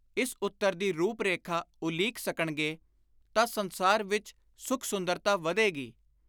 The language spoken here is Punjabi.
ਇਸ ਉੱਤਰ ਦੀ ਰੁਪ-ਰੇਖਾ ਉਲੀਕ ਸਕਣਗੇ ਤਾਂ ਸੰਸਾਰ ਵਿਚ ਸੁਖ-ਸੁੰਦਰਤਾ ਵਧੇਗੀ।